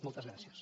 moltes gràcies